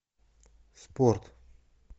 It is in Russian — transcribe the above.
спорт